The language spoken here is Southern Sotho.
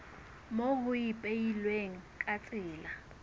moo ho ipehilweng ka tsela